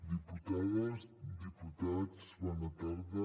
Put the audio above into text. diputades diputats bona tarda